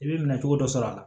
I bɛ minɛ cogo dɔ sɔr'a la